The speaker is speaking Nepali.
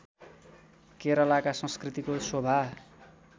केरलका संस्कृतिको शोभा